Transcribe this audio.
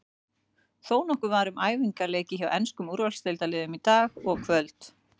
Þónokkuð var um æfingaleiki hjá enskum úrvalsdeildarliðum í dag og kvöld.